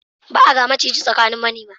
Ba a ga maciji a tsakanin manema.